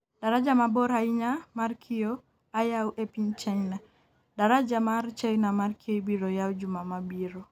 daraja mabor ahinya mar kioo ayaw e piny china. daraja mar China mar kioo ibiro yaw juma mabiro